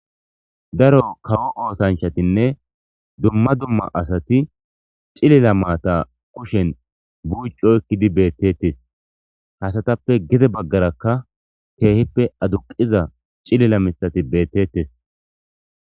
daro kawo oosanshatinne dumma dumma asati cilila maata kushen buuccu oykkidi beettettes hasatappe gide baggarakka teehippe aduqiza cilila mithati beettettes